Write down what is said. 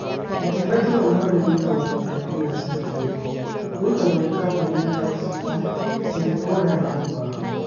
Ũtungata ũyũ mwerũ, wĩtagwo bodaboda cia gũĩtwo. ũrutagwo nĩ kambuni ta Taxify, Safeboda, na Uber.